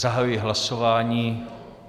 Zahajuji hlasování.